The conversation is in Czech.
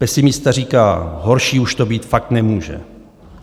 Pesimista říká: "Horší už to být fakt nemůže".